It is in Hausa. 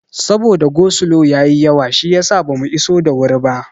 Saboda go slo ya yi yawa shiyasa bamu iso da wuri ba.